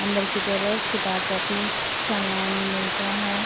अंदर की तरफ किताब कॉपी सामान मिलता है।